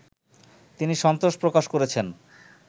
তিনি সন্তোষ প্রকাশ করেছেন